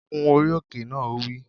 Gun orí òkè náà! Ó wí